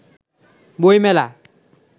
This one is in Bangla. বই মেলা